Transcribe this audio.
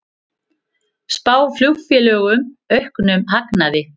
Spá flugfélögum auknum hagnaði